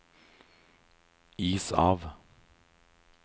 is av